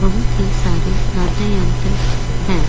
बहुत ही सारे वाद्य यंत्र है।